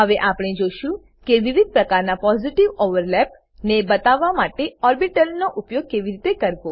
હવે આપણે જોશું કે વિવિધ પ્રકારના પોઝિટિવ ઓવરલેપ્સ પોઝિટિવ ઓવરલેપ ને બતાવવા માટે ઓર્બીટલનો ઉપયોગ કેવી રીતે કરવો